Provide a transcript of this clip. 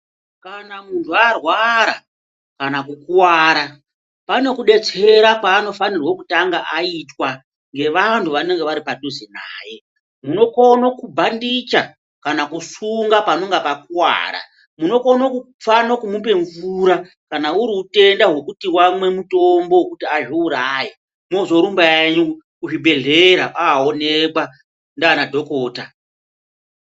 Kana munthu arwara kana kukuwara pane kudetsera kwaanofanira kutanga aitwa ngevanthu vanonga vari padhuze naye munokona kubhandicha kana kusunga panonga pakuwara, munokone kufana kumupa mvura kana uri utenda hwekuti wamwa mutombo wekuti azviuraye mwozorumba henyu kuzvibhedhlera ooonekwa ndiana dhokota.